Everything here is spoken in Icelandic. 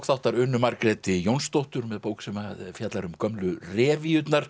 þáttar Unu Margréti Jónsdóttur með bók sem fjallar um gömlu